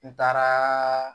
N taaraa